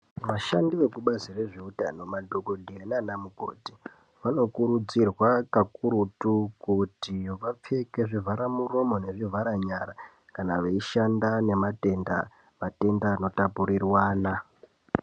Vashandi vekubazi rezveutano, madhokodheya nana mukoti, vanokurudzirwa kakurutu, kuti vapfeke zvivharamuromo nezvi vharanyara kana veishanda nematenda, matenda anotapurirwana